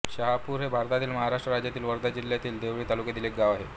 शाहापूर हे भारतातील महाराष्ट्र राज्यातील वर्धा जिल्ह्यातील देवळी तालुक्यातील एक गाव आहे